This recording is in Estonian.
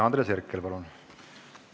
Andres Herkel, palun!